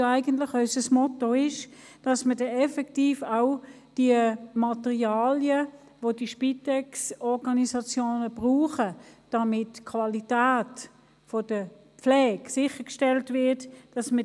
Deshalb ist es uns ein Anliegen, die Materialien, die die Spitex-Organisationen effektiv verbraucht haben, rechtens verrechnen zu können, damit die Qualität der Pflege sichergestellt ist.